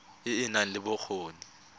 e e nang le bokgoni